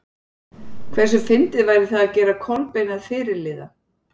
Hversu fyndið væri það að gera Kolbein að fyrirliða?